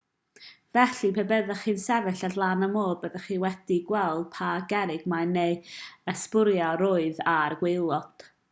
felly pe byddech chi'n sefyll ar lan y môr byddech chi'n gallu gweld pa gerrig mân neu ysbwriel oedd ar y gwaelod